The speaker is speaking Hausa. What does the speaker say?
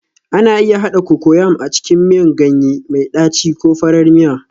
Ana iya haɗa Cocoyam a cikin miyan ganye mai ɗaci ko farar miya